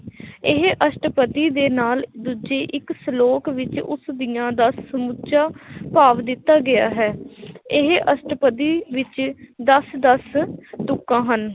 ਇਹ ਅਸਟਪਦੀ ਦੇ ਨਾਲ ਦੂਜੇ ਇੱਕ ਸਲੋਕ ਵਿੱਚ ਉਸਦੀਆਂ ਦਾ ਸਮੁੱਚਾ ਭਾਵ ਦਿੱਤਾ ਗਿਆ ਹੈ ਇਹ ਅਸਟਪਦੀ ਵਿੱਚ ਦਸ ਦਸ ਤੁਕਾਂ ਹਨ l